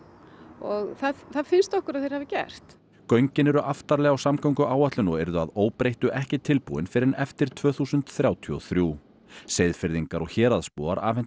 og það það finnst okkur að þeir hafi gert göngin eru aftarlega á samgönguáætlun og yrðu að óbreyttu ekki tilbúin fyrr en eftir tvö þúsund þrjátíu og þrjú Seyðfirðingar og héraðsbúar afhentu